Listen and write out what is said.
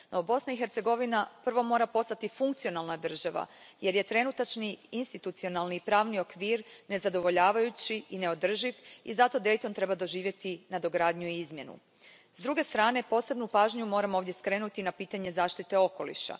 No Bosna i Hercegovina prvo mora postati funkcionalna država jer je trenutačni institucionalni i pravni okvir nezadovoljavajući i neodrživ i zato Dayton treba doživjeti nadogradnju i izmjenu. S druge strane, posebnu pažnju moram ovdje skrenuti na pitanje zaštite okoliša.